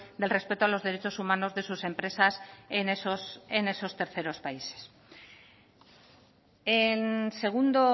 del respeto a los derechos humanos de sus empresas en esos terceros países en segundo